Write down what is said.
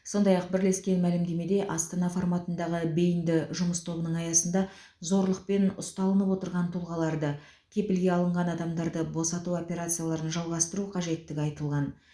сондай ақ бірлескен мәлімдемеде астана форматындағы бейінді жұмыс тобының аясында зорлықпен ұсталынып отырған тұлғаларды кепілге алынған адамдарды босату операцияларын жалғастыру қажеттігі айтылған